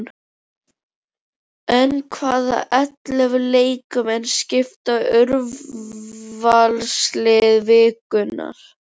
En hvaða ellefu leikmenn skipa úrvalslið vikunnar?